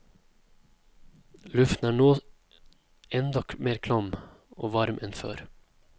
Luften er nå enda mer klam og varm enn før.